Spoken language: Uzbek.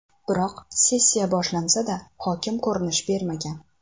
Biroq sessiya boshlansa-da, hokim ko‘rinish bermagan.